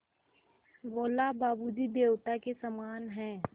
बोला बाबू जी देवता के समान हैं